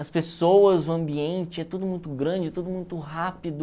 As pessoas, o ambiente, é tudo muito grande, é tudo muito rápido.